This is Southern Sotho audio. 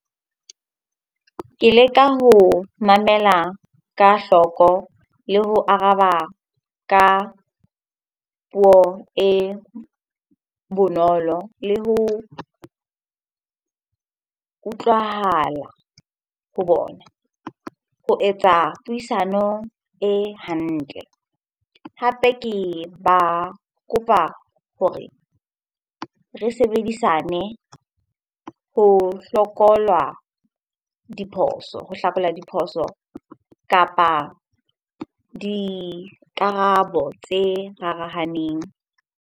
Ke leka ho mamela ka hloko, le ho araba ka puo e bonolo, le ho utlwahala ho bona ho etsa puisano e hantle. Hape ke ba kopa hore re sebedisane ho diphoso, ho hlakola diphoso kapa dikarabo tse rarahaneng.